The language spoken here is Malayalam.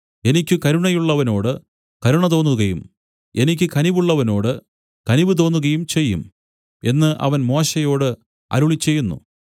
എനിക്ക് കരുണയുള്ളവനോട് കരുണ തോന്നുകയും എനിക്ക് കനിവുള്ളവനോട് കനിവ് തോന്നുകയും ചെയ്യും എന്നു അവൻ മോശെയോടു അരുളിച്ചെയ്യുന്നു